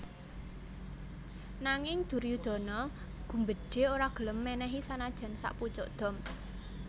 Nanging Duryudana gumbedhe ora gelem menehi sanajan sakpucuk dom